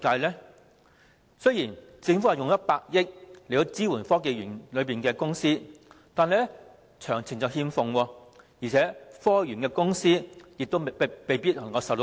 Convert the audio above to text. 政府將動用100億元支援科技園內的公司，但詳情同樣欠奉，而且園內的公司亦未必能夠受惠。